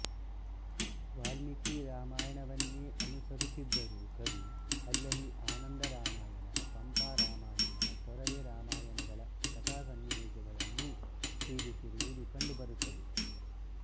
ವಾಲ್ಮೀಕಿ ರಾಮಾಯಣವನ್ನೆ ಅನುಸರಿಸಿದ್ದರೂ ಕವಿ ಅಲ್ಲಲ್ಲಿ ಆನಂದರಾಮಾಯಣ ಪಂಪರಾಮಾಯಣ ತೊರವೆ ರಾಮಾಯಣಗಳ ಕಥಾಸನ್ನಿವೇಶಗಳನ್ನೂ ಸೇರಿಸಿರುವುದು ಕಂಡುಬರುತ್ತದೆ